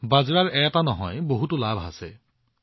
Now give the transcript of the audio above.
বাজৰাৰ এটা নহয় বহুতো লাভালাভ আছে